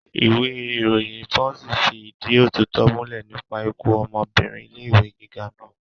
Ìwé ìròyìn pọ́ǹṣì fi ìdí òtítọ́ múlẹ̀ nípa ikú ọmọbìnrin ilé ẹ̀kọ́ gíga naa